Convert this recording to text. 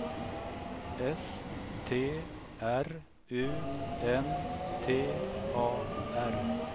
S T R U N T A R